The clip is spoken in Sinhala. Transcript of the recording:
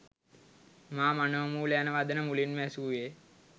මා මනෝමූල යන වදන මුලින්ම ඇසූයේ